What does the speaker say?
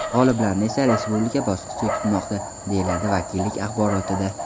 G‘oliblarni esa Respublika bosqichi kutmoqda”, deyiladi vakillik axborotida.